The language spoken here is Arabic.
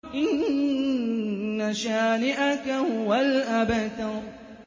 إِنَّ شَانِئَكَ هُوَ الْأَبْتَرُ